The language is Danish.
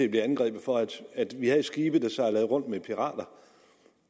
at blive angrebet for at vi havde skibe der sejlede rundt med pirater